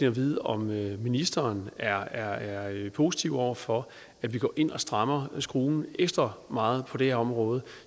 at vide om ministeren er er positiv over for at vi går ind og strammer skruen ekstra meget på det her område